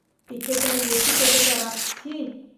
டிக்கெட்ட எச்சி தொட்டு தரான், சீ.